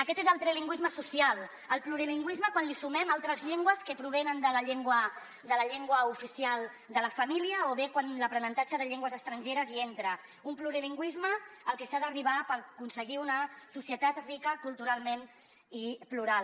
aquest és el trilingüisme social el plurilingüisme quan li sumem altres llengües que provenen de la llengua oficial de la família o bé quan l’aprenentatge de llengües estrangeres hi entra un plurilingüisme al que s’ha d’arribar per aconseguir una societat rica culturalment i plural